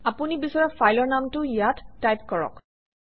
আপুনি বিচৰা ফাইলৰ নামটো ইয়াত টাইপ কৰক